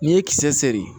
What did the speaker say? N'i ye kisɛ seri